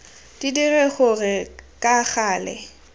di dire gore ka gale